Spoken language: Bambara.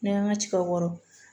N'i y'an ka ciw wɔrɔn